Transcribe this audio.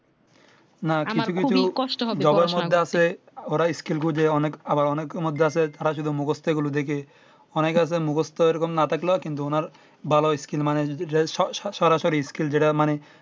না কিছু কিছু government আছে ওরা skill বুঝে অনেক আবার অনেকের মধ্যে আছে তারা শুধু মুখস্তই গুলো দেখে অনেক আছে মুখস্থ এইরকম না থাকলে কিন্তু ওনার ভালো skill মানে যদি সরাসরি